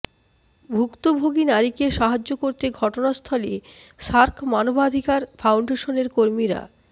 ভুক্তভোগী নারীকে সাহায্য করতে ঘটনাস্থলে সার্ক মানবাধিকার ফাউন্ডেশনের কর্মীরা